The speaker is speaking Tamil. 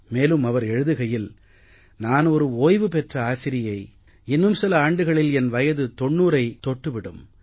மேலும் அவர் எழுதுகையில் நான் ஒரு ஓய்வு பெற்ற ஆசிரியை இன்னும் சில ஆண்டுகளில் என் வயது 90ஐத் தொட்டு விடும்